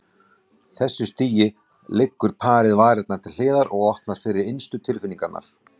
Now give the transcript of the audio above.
þessu stigi leggur parið varnirnar til hliðar og opnar fyrir innstu tilfinningarnar.